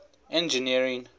engineering